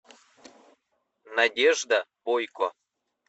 надежда бойко